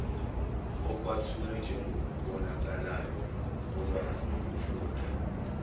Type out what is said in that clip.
akwethulwe njengokubonakalayo kolwazilokufunda